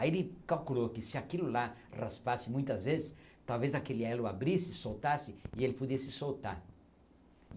Aí ele calculou que se aquilo lá raspasse muitas vezes, talvez aquele elo abrisse, soltasse, e ele podia se soltar.